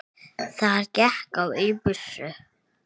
Þar gekk á ýmsu.